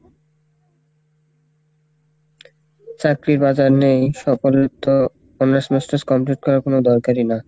চাকরি বাজার নেই সকলের তো honors masters complete করার কোনো দরকারই না,